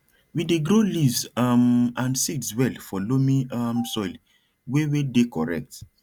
we dey grow leaves um and seeds well for loamy um soil wey wey dey correct